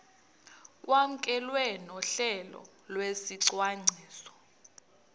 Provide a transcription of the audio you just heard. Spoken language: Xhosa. kwamkelwe nohlelo lwesicwangciso